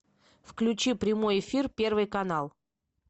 включи прямой эфир первый канал